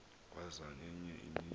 waza ngenye imini